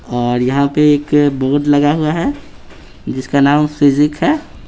और यहां पे एक बोर्ड लगा हुआ है जिसका नाम फिजिक है।